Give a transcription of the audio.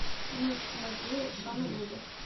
ночь в музее шона леви